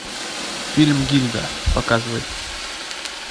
фильм гильда показывай